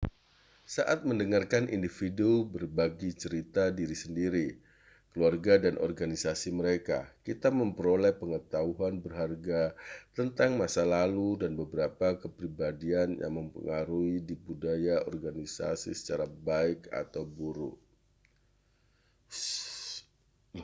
saat mendengarkan individu berbagi cerita diri sendiri keluarga dan organisasi mereka kita memperoleh pengetahuan berharga tentang masa lalu dan beberapa kepribadian yang memengaruhi budaya organisasi secara baik atau buruk